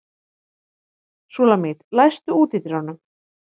Súlamít, læstu útidyrunum.